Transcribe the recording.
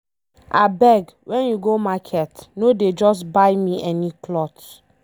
Abeg when you go market no dey just buy me any cloth.